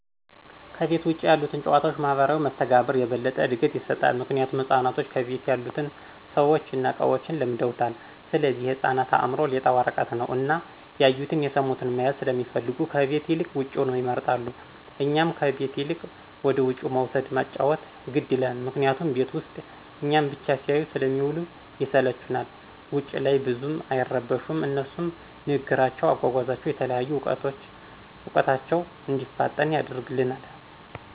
ከቤት ውጭ ያሉት ጭዋታዎች ማህበራዊ መስተጋብር የበለጠ እድገት ይሰጣል። ምክንያቱም ህፃናቶች ከቤት ያሉትን ሰዎችን እና እቃዎችን ለምደውታል ስለዚህ የህፃናት አእምሮ ሌጣ ወረቀት ነው እና ያዩቱን፣ የስሙትን መያዝ ሰለሚፈልጉ ከቤት ይልቅ ውጭውን ይመርጣሉ። እኛም ከቤት ይልቅ ወደውጭ መውሰድን ማጫዎት ግድ ይላል ምክንያቱም ቤት ውስጥ እኛን ብቻ ሲያዩ ስለሚውሉ ይስለቹናል። ውጭ ላይ ግን ብዙም አይረብሹም አነሱም ንግግራቸው፣ አጓጓዛቸው፣ የተለያዩ እውቀታቸው እንዲፋጠን ያደርግልናል።